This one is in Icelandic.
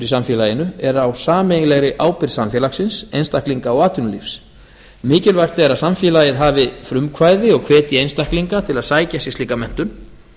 samfélaginu er á sameiginlegri ábyrgð samfélagsins einstaklinga og atvinnulífsins mikilvægt er að samfélagið hafi frumkvæði og hvetji einstaklinga til að sækja sér slíka menntun